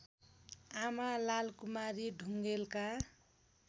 आमा लालकुमारी ढुङेलका